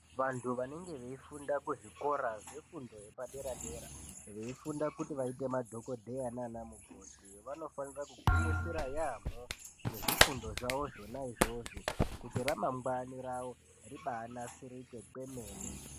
Vantu vanenge veifunda kuzvikora zvefundo yepadera-dera veifunda kuti vaite madhogodheya naana mukoti vanofanira kugwinyisira yaamho ngezvifundo zvawo zvona izvozvo kuti ramangwani rawo ribaanasirike kwemene.